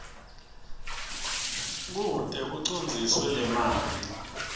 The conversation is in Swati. kute kucondziswe lemali